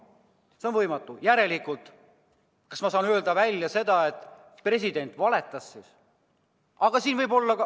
Kui see on võimatu, siis kas ma järelikult saan öelda, et president valetas?